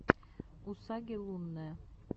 усаги лунная